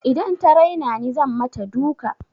Idan ta raina ni zan mata duka.